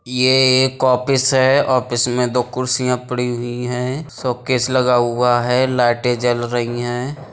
इ ये एक ऑफिस है। ऑफिस में दो कुर्सिया पड़ी हुई हैं। शोकेस लगा हुआ है। लाईटे जल रही हैं।